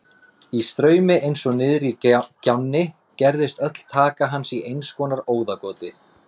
Í straumi eins og niðri í gjánni gerðist öll taka hans í einskonar óðagoti.